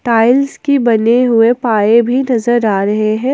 Tiles की बने हुए पाए भी नजर आ रहे हैं।